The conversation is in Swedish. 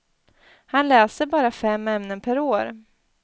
Han läser bara fem ämnen per år.